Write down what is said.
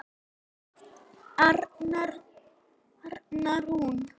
Arna Rún.